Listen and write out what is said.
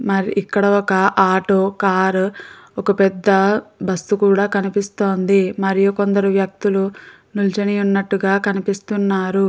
మరి ఇక్కడ ఒక ఆటో కారు ఒక పెద్ద బస్ కూడా కనిపిస్తోంది మరియు కొందరు వ్యక్తులు నిల్చొని వున్నటుగా కనిపిస్తున్నారు.